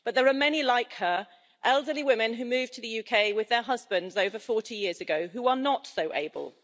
But there are many like her, elderly women who moved to the UK with their husbands over 40 years ago, who are not so able.